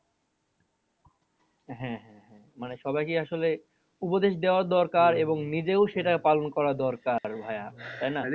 হ্যাঁ হ্যাঁ হ্যাঁ মানে সবাইকে আসলে উপদেশ দেওয়া দরকার এবং নিজেও সেটা পালন করা দরকার ভাইয়া তাই না?